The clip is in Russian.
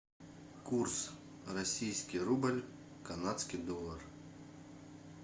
курс российский рубль канадский доллар